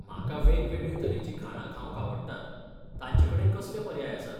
म्हाका वेगवेगळें तरेची खाणां खावंक आवडटात, तांचेकडेन कसले पर्याय आसात?